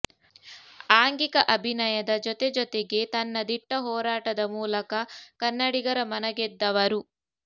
ಆಂಗಿಕ ಅಭಿನಯದ ಜೊತೆ ಜೊತೆಗೆ ತನ್ನ ದಿಟ್ಟ ಹೋರಾಟದ ಮೂಲಕ ಕನ್ನಡಿಗರ ಮನ ಗೆದ್ದವರು